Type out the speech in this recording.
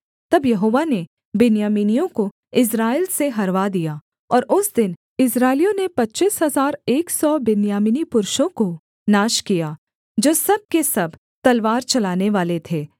तब यहोवा ने बिन्यामीनियों को इस्राएल से हरवा दिया और उस दिन इस्राएलियों ने पच्चीस हजार एक सौ बिन्यामीनी पुरुषों को नाश किया जो सब के सब तलवार चलानेवाले थे